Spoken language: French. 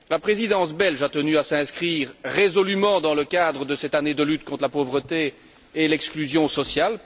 La Présidence belge a tenu à s'inscrire dans le cadre de cette année de lutte contre la pauvreté et l'exclusion sociale.